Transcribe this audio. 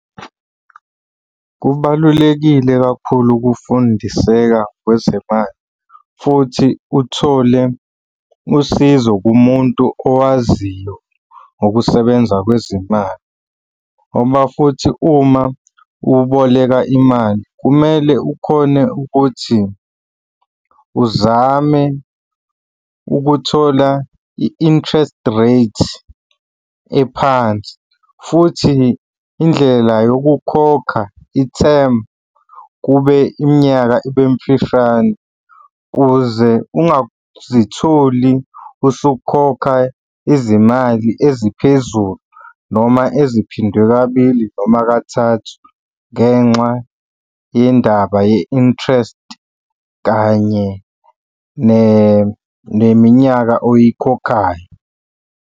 Kubalulekile kakhulu ukufundiseka kwezemali futhi uthole usizo kumuntu owaziyo ngokusebenza kwezimali ngoba futhi uma uboleka imali, kumele ukhone ukuthi uzame ukuthola i-interest rate ephansi futhi indlela yokukhokha i-term, kube iminyaka ibe mfishane, ukuze ungazitholi usukhokha izimali eziphezulu noma eziphindwe kabili noma kathathu ngenxa yendaba ye-interest kanye neminyaka oyikhokhayo.